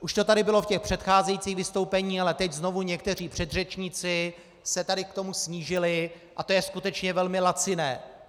Už to tady bylo v těch přecházejících vystoupeních, ale teď znovu někteří předřečníci se tady k tomu snížili a to je skutečně velmi laciné.